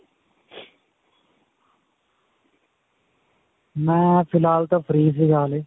ਮੈ ਫਿਲਹਾਲ ਤਾਂ free ਸੀਗਾ ਹਲੇ.